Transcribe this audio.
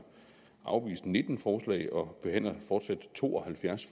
afvist nitten forslag og behandler fortsat to og halvfjerds